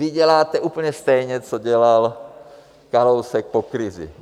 Vy děláte úplně stejně, co dělal Kalousek po krizi.